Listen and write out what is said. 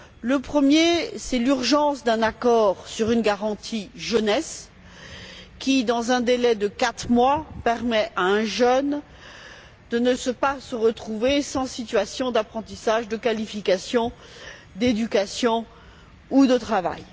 Le premier, c'est l'urgence d'un accord sur une garantie jeunesse qui, dans un délai de quatre mois, permet à un jeune de ne pas se retrouver sans situation d'apprentissage, sans qualification, sans formation ou sans travail.